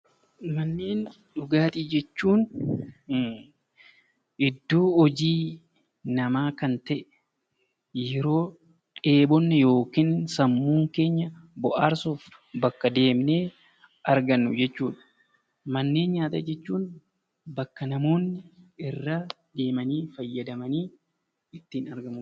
Manneen dhugaatii jechuun iddoo hojii namaa kan ta'e, yeroo dheebonne yookaan sammuun keenya bohaarsuuf bakka deemnee argannu jechuudha. Manneen nyaataa jechuun bakka namoonni irraa deemanii fayyamanii ittiin argamudha.